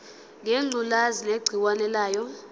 ngengculazi negciwane layo